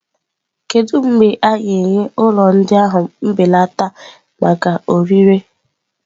Kedu mgbe a ga-enye ụlọ ndị ahụ mbelata maka ọrịre?